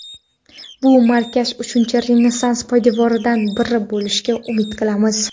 Bu markaz Uchinchi Renessans poydevoridan biri bo‘lishiga umid qilamiz.